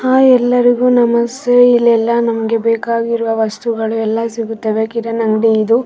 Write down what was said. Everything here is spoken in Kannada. ಹಾಯ್ ಎಲ್ಲರಿಗು ನಮಸ್ತೆ ಇಲ್ಲೆಲ್ಲಾ ನಮಗೆ ಬೇಕಾಗಿರುವ ವಸ್ತುಗಳೆಲ್ಲ ಸಿಗುತ್ತವೆ ಕಿರಾಣಿ ಅಂಗಡಿ ಇದು .